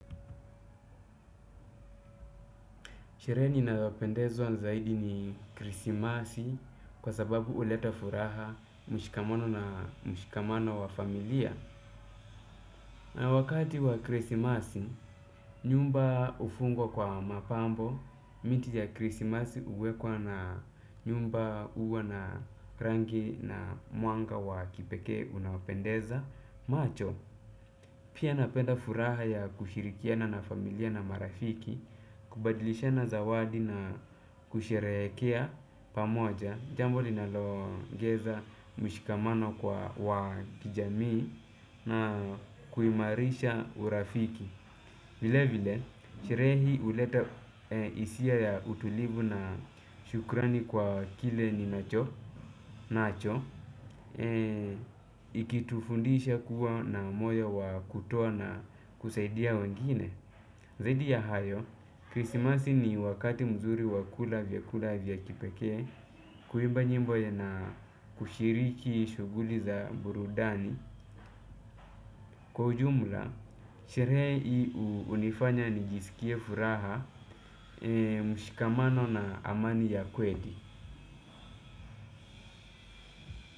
Sherehe ninayopendezwa zaidi ni krisimasi, kwa sababu huleta furaha na mshikamono wa familia. Na wakati wa krisimasi, nyumba hufungwa kwa mapambo, miti ya krisimasi huwekwa na nyumba huwa na rangi na mwanga wa kipekee unaopendeza. Macho, pia napenda furaha ya kushirikiana na familia na marafiki, kubadilishana zawadi na kusherekea pamoja, jambo linaloogeza mshikamano wa kiijamii na kuimarisha urafiki. Vile vile, sherehe hii huleta hisia ya utulivu na shukrani kwa kile ni nacho, ikitufundisha kuwa na moyo wa kutoa na kusaidia wengine. Zaidi ya hayo, krisimasi ni wakati mzuri wakula vyakula vya kipekee, kuimba nyimbo ya na kushiriki shughuli za burudani. Kwa ujumula, sherehe hii hunifanya nijisikie furaha, mshikamano na amani ya kweli.